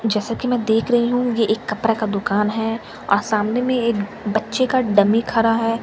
जैसा की मैं देख रही हूँ ये एक कपड़ा का दुकान है और सामने में एक बच्चे का डमी खड़ा है ।